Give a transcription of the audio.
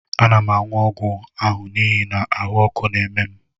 Ana m aṅụ ọgwụ ahụ n'ihi na ahụ́ ọkụ na-eme m